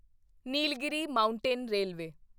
Nilgiri mountain railway